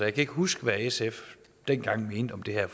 ikke huske hvad sf dengang mente om det her